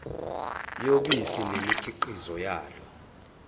yobisi nemikhiqizo yalo